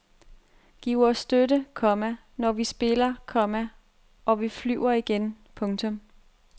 Giv os støtte, komma når vi spiller, komma og vi flyver igen. punktum